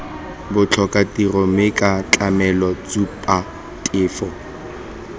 botlhokatiro mme ca tlamele tshupatefo